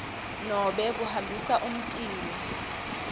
nobe kuhambisa umtimba